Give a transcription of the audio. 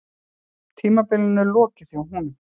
Tímabilinu lokið hjá honum